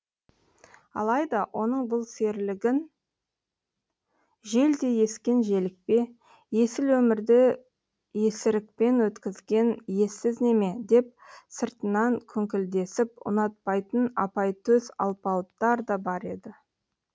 алайда оның бұл серілігін желдей ескен желікпе есіл өмірді есірікпен өткізген ессіз неме деп сыртынан күңкілдесіп ұнатпайтын апайтөс алпауыттар да бар еді